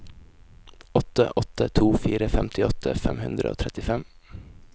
åtte åtte to fire femtiåtte fem hundre og trettifem